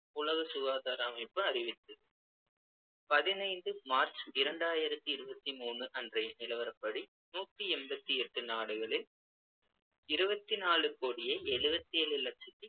உலக சுகாதார அமைப்பு அறிவித்தது பதினைந்து மார்ச் இரண்டாயிரத்தி இருபத்தி மூணு அன்றைய நிலவரப்படி, நூத்தி எண்பத்தி எட்டு நாடுகளில் இருபத்தி நாலு கோடியே எழுபத்து ஏழு லட்சத்தி